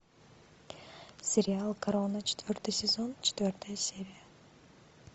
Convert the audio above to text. сериал корона четвертый сезон четвертая серия